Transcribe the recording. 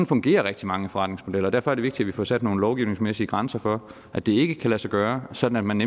fungerer rigtig mange forretningsmodeller derfor er det vigtigt at vi får sat nogle lovgivningsmæssige grænser for at det ikke kan lade sig gøre sådan at man